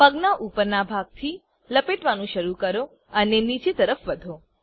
પગનાં ઉપરનાં ભાગથી લપેટવાનું શરૂ કરો અને નીચેની તરફ વધો